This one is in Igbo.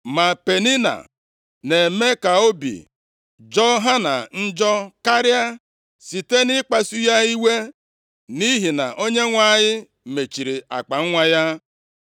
Ma Penina na-eme ka obi jọọ Hana njọ karịa, site nʼikpasu ya iwe, nʼihi na Onyenwe anyị mechiri akpanwa ya.